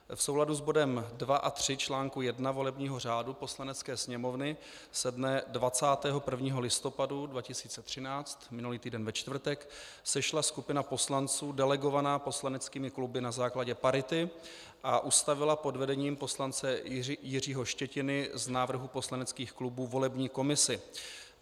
V souladu s bodem 2 a 3 článku 1 volebního řádu Poslanecké sněmovny se dne 21. listopadu 2013, minulý týden ve čtvrtek, sešla skupina poslanců delegovaná poslaneckými kluby na základě parity a ustavila pod vedením poslance Jiřího Štětiny z návrhů poslaneckých klubů volební komisi.